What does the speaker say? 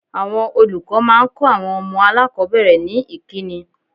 Àwọn olùkọ́ máa ń kọ àwọn ọmọ aláàkọ́bẹ̀rẹ̀ ní ìkíni.